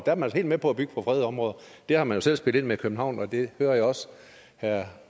er man helt med på at bygge på fredede områder det har man jo selv spillet ind med i københavn og det hører jeg også herre